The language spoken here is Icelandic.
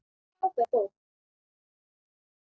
Frábær bók.